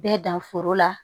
Bɛɛ dan foro la